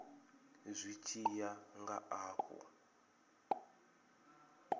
zwi tshi ya nga afho